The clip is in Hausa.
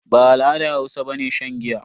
Ba al'adar Hausa bane shan giya.